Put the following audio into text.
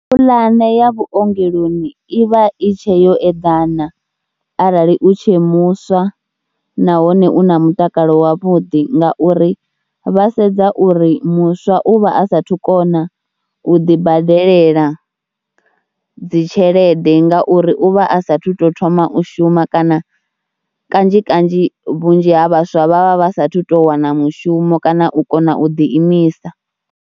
Pulane ya vhuongeloni i vha i tshe yo eḓana arali u tshe muswa nahone u na mutakalo wavhuḓi ngauri vha sedza uri muswa u vha a saathu kona u ḓibadelela dzi tshelede ngauri u vha a saathu to thoma u shuma kana kanzhi kanzhi vhunzhi ha vhaswa vha vha vha saathu to wana mushumo kana u kona u ḓiimisa.